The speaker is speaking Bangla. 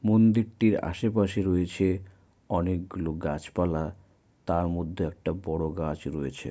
মন্দিরটির আশেপাশে রয়েছে অনেকগুলো গাছপালা। তার মধ্যে একটা বড় গাছ রয়েছে।